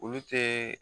Olu tɛ